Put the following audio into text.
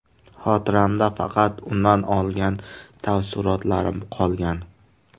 Xotiramda faqat undan olgan taassurotlarim qolgan.